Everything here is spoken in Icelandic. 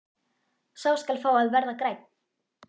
Sá skal fá að verða grænn!